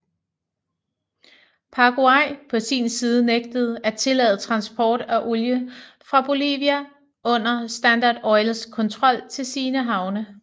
Paraguay på sin side nægtede at tillade transport af olie fra Bolivia under Standard Oils kontrol til sine havne